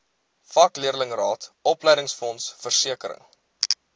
vakleerlingraad opleidingsfonds versekering